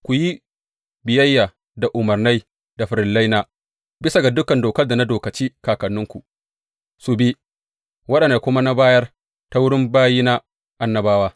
Ku yi biyayya da umarnai da farillaina, bisa ga dukan Dokar da na dokaci kakanninku su bi, waɗanda na kuma bayar ta wurin bayina, annabawa.